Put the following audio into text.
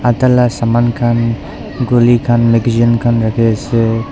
tala saman khan guli khan magajean khan rakhiase.